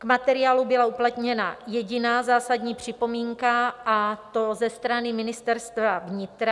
K materiálu byla uplatněna jediná zásadní připomínka, a to ze strany Ministerstva vnitra.